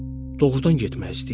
Doğrudan getmək istəyirsən?